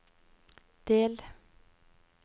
del